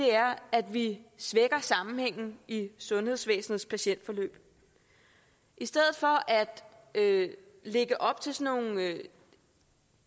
er at vi svækker sammenhængen i sundhedsvæsenets patientforløb i stedet for at lægge op til nogle